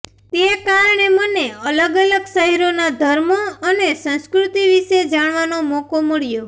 તે કારણે મને અલગ અલગ શહેરોના ધર્મો અને સંસ્કૃતિ વિશે જાણવાનો મોકો મળ્યો